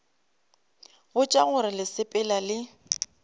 botša gore le sepela le